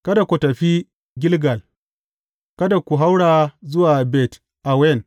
Kada ku tafi Gilgal; kada ku haura zuwa Bet Awen.